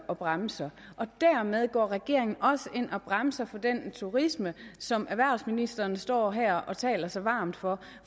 og bremser og dermed går regeringen også ind og bremser for den turisme som erhvervsministeren står her og taler så varmt for